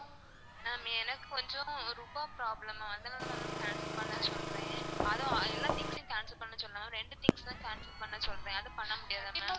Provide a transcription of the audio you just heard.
ma'am எனக்கு கொஞ்சம் ரூபா problem ma'am அதனால தான் ma'am cancel பண்ணவே சொல்றன்அதுவும் எல்லா things சையும் cancel பண்ண சொல்லல ma'am ரெண்டு things தான் cancel பண்ண சொல்றன் அது பண்ண முடியாதா ma'am?